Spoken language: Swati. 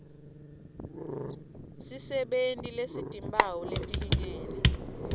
sisebenti lesitimphawu letilingene